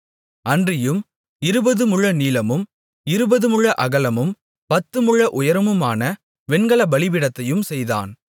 அன்றியும் இருபது முழநீளமும் இருபதுமுழ அகலமும் பத்துமுழ உயரமுமான வெண்கலப் பலிபீடத்தையும் செய்தான்